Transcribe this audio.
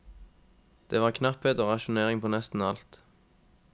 Det var knapphet og rasjonering på nesten alt.